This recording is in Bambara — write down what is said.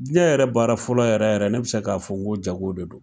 Diɲɛ yɛrɛ baara fɔlɔ yɛrɛ yɛrɛ ne bi se k'a fɔ, n ko jago de don